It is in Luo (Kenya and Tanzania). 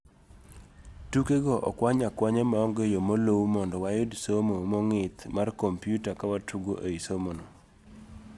Tuke go okwany akwanya maonge yoo moluu mondo wayud somo mong'ith mar kompiuta kawatugo ei somono.